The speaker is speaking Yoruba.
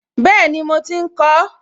Bẹ́ẹ̀ni mo ti ń kọ ọ́